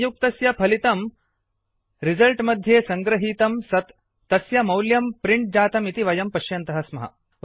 संयुक्तस्य फलितम् output result मध्ये सङ्गृहीतं सत् तस्य मौल्यं प्रिण्ट् जातम् इति वयं पश्यन्तः स्मः